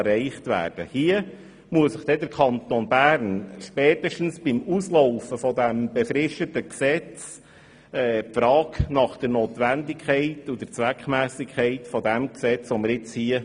Spätestens beim Auslaufen dieses befristeten Gesetzes muss man sich die Frage nach dessen Notwendigkeit und Zweckmässigkeit stellen.